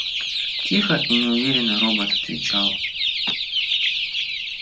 тихо и неуверенно робот отвечал